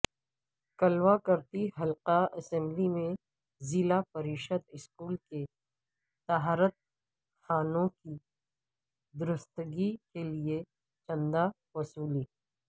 کلواکرتی حلقہ اسمبلی میں ضلع پریشد اسکول کے طہارت خانوں کی درستگی کیلئے چندہ وصولی